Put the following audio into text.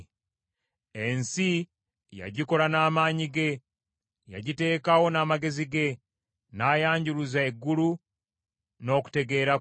“Ensi yagikola n’amaanyi ge; yagiteekawo n’amagezi ge, n’ayanjuluza eggulu n’okutegeera kwe.